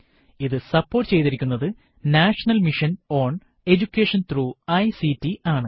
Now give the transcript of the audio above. ഇത് സപ്പോർട്ട് ചെയ്തിരിക്കുനത് national mission on education through ICT ആണ്